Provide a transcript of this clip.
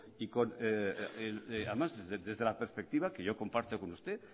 y además desde la perspectiva que yo comparto con usted